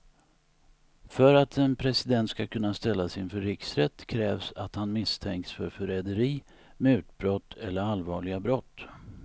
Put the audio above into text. För att en president ska kunna ställas inför riksrätt krävs att han misstänks för förräderi, mutbrott eller allvarliga brott.